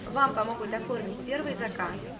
вам помогут оформить первый заказ